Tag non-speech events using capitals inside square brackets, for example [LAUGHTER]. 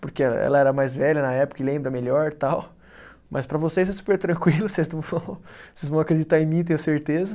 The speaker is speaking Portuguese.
porque ela era mais velha na época e lembra melhor tal, mas para vocês é super tranquilo, [LAUGHS] vocês não vão, vocês vão acreditar em mim, tenho certeza.